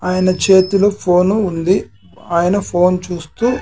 ఆయన చేతిలో ఫోను ఉంది ఆయన ఫోన్ చూస్తూ--